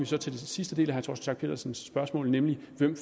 så til den sidste del af herre torsten schack pedersens spørgsmål nemlig hvem